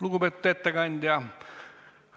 Lugupeetud ettekandja!